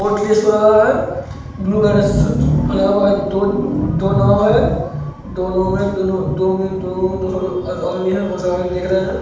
हो रहा है | ब्लू कलर सब पहना हुवा है दो दो नाव है दो नाव में दो में दो ओरेंगी है वो सामने देख रहे हैं ।